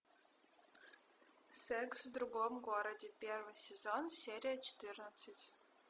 секс в другом городе первый сезон серия четырнадцать